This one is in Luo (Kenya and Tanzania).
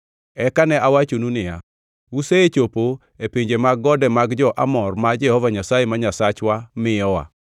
Eka ne awachonu niya, “Usechopo e pinje mag gode mar jo-Amor ma Jehova Nyasaye ma Nyasachwa miyowa.